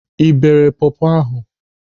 Ị beere pọpọ ahụ?